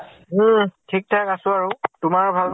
উম । ঠিক ঠাক আছো আৰু । তোমাৰ ভাল